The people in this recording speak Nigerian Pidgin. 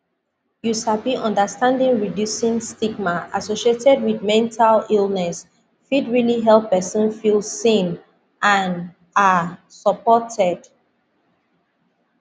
you sabi understanding reducing stigma associated wit mental illness fit realli help pesin feel seen and um supported